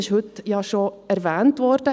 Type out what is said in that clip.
Das wurde heute ja bereits erwähnt.